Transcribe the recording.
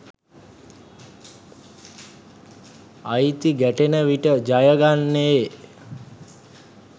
අයිති ගැටෙන විට ජයගන්නේ